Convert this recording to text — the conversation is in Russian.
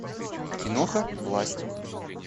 киноха власть